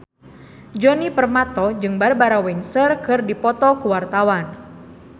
Djoni Permato jeung Barbara Windsor keur dipoto ku wartawan